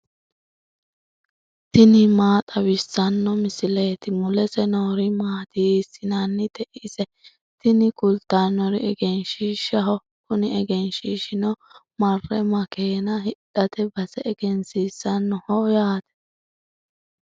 tini maa xawissanno misileeti ? mulese noori maati ? hiissinannite ise ? tini kultannori egenshiishshaho. kuni egenshiishshino marre makeena hidhate base egensiisannoho yaate.